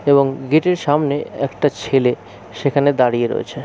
এবং গেটের সামনে একটা ছেলে সেখানে দাঁড়িয়ে রয়েছে।